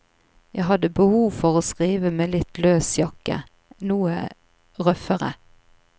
Jeg hadde behov for å skrive med litt løs jakke, noe røffere.